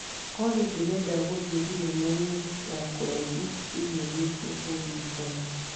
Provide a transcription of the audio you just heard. Olly ndĩrenda gũthiĩ thenema-inĩ ya kũraihu kiumia gĩkĩ ũndirikanie